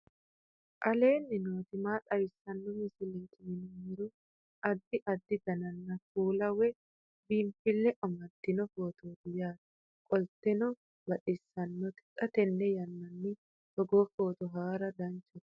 aleenni nooti maa xawisanno misileeti yinummoro addi addi dananna kuula woy biinsille amaddino footooti yaate qoltenno baxissannote xa tenne yannanni togoo footo haara danvchate